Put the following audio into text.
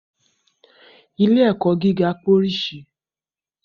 Ilé - ẹ̀kọ́ gíga pé orísìí